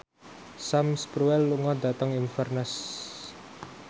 Sam Spruell lunga dhateng Inverness